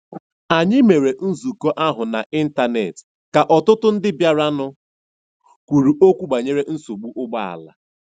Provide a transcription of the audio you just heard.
Anyị mere nzukọ ahụ n'Ịntanet ka ọtụtụ ndị bịaranụ kwuru okwu banyere nsogbu ụgbọala.